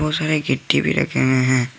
बहुत सारे गिट्टी भी रखे हुए हैं।